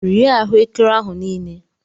Rie ahuekere ahu niile!